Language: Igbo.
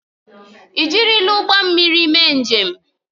Ị jirila ụgbọ mmiri mee njem?